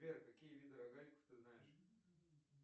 сбер какие виды рогаликов ты знаешь